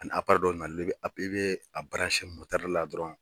Ani dɔ i bɛ a la dɔrɔn.